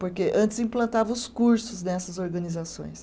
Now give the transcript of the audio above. Porque antes implantava os cursos nessas organizações.